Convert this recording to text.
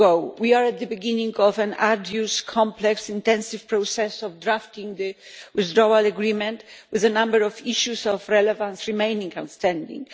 We are at the beginning of an arduous, complex, intensive process of drafting the withdrawal agreement with a number of issues of relevance remaining outstanding.